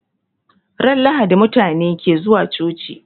Ran lahadi mutabe ke zuwa coci